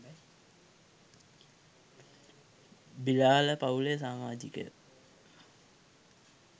බිලාල පවුලේ සාමාජිකයෝ